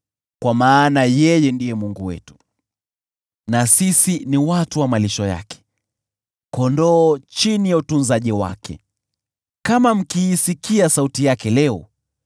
kwa maana yeye ndiye Mungu wetu, na sisi ni watu wa malisho yake, kondoo chini ya utunzaji wake. Kama mkiisikia sauti yake leo,